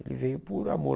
Ele veio por amor.